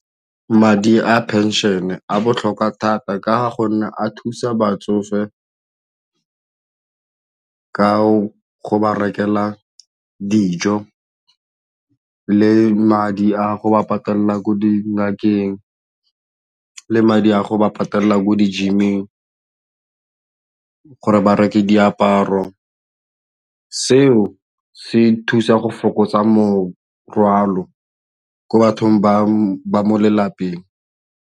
Madi a phenšene a botlhokwa thata ka gonne a thusa batsofe ka go ba rekela dijo le madi a go ba patala ko dingakeng le madi a go ba patelela ko dingakeng gore ba reke diaparo, seo se thusa go fokotsa morwalo ko bathong ba mo lelapeng.